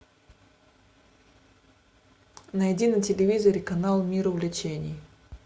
найди на телевизоре канал мир увлечений